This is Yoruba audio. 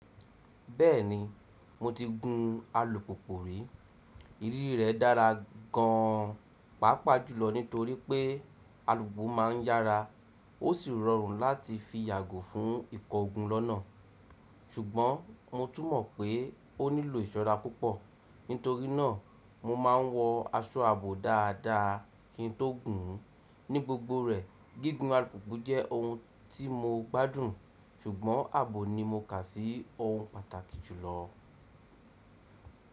Bẹ́ẹ̀ni, mo ti gun alùpùpù rí. Ìrírí rẹ̀ dára gan papajùlọ nítorí pé alùpùpù máa ń yára ó sì rọrùn láti fi yàgò fún ìkọgun lọ́nà. Ṣùgbọ́n mo tún mọ̀ pé ó nílò ìṣọ́ra púpọ̀, nítorí náà mo máa ń wọ aṣọ ààbò dáadáa kí n tó gùn ún. Ní gbogbo rẹ̀, gígùn alùpùpù jẹ́ ohun tí mo gbádùn ṣùgbọ́n ààbò ni mo kà sí ohun pàtàkì jùlọ.